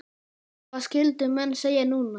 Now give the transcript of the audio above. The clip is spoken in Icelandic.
Hvað skyldu menn segja núna?